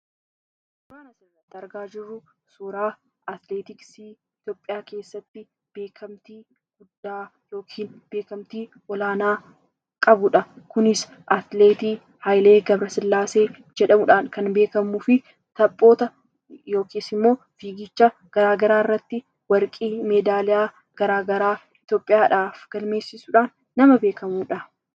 Suuraan nuti argaa jirru suuraa atileetiksii Itoophiyaa keessatti beekamtii guddaa yookiin olaanaa qabudha . Innis atileetii Hayilee G/sillaasee jedhamuudhaan beekamuu fi fiigicha garaagaraa irratti meedaaliyaa garaagaraa Itoophiyaaf galchuudhaan nama beekamudha.